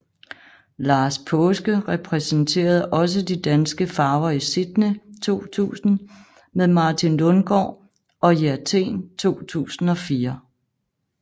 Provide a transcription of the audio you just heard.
Lars Paaske repræsenterede også de danske farver i Sydney 2000 med Martin Lundgaard og i Athen 2004